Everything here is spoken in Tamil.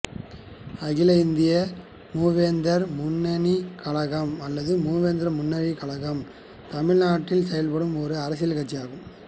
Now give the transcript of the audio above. அகில இந்திய மூவேந்தர் முன்னணிக் கழகம் அல்லது மூவேந்தர் முன்னணிக் கழகம் தமிழ்நாட்டில் செயல்படும் ஒரு அரசியல்கட்சி ஆகும்